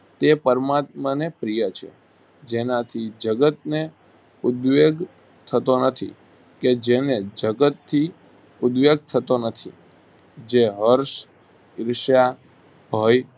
તે પરમાત્માને પ્રિય છે જેનાથી જગતને ઉદ્વેગ થતો નથી કે જેને જગતથી ઉદ્વેગ થતો નથી જે હર્ષ, ઈર્ષા, ભય,